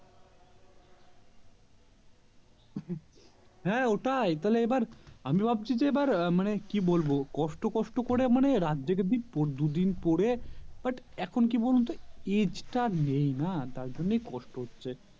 হ্যাঁ ওটাই তাহলে এবার আমি ভাবছি যে এবার মানে কি বলবো কষ্ট কষ্ট করে মানে রাত জেগে দু দিন পরে but এখন কি বলতো age তা নেই না তার জন্যই কষ্ট হচ্ছে